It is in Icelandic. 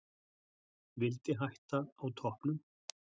Vildi hætta á toppnum.